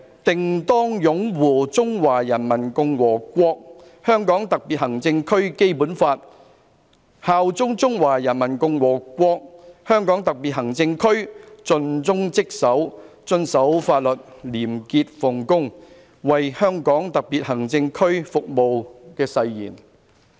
定當擁護《中華人民共和國香港特別行政區基本法》，效忠中華人民共和國香港特別行政區，盡忠職守，遵守法律，廉潔奉公，為香港特別行政區服務'的誓言。